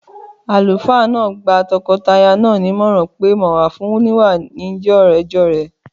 Àlùfáà náà gba tọkọtaya náà nímọ̀ràn pé mọ̀wà fún oníwà ló ń jẹ́ ọ̀rẹ́jọ̀rẹ́